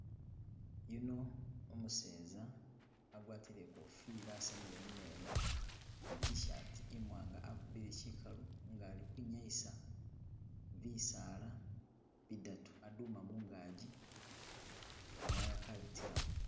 Yuno umuseza agwatile ikofila asamile mumeno ni tshaati imwanga akubile chikalu nenga ali kwinyayisa bisaala bidatu aduma mungagi ka wire kabitilawo.